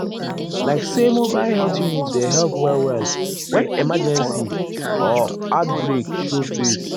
like say mobile health unit dey help well-well when emergency ah or outbreak show face.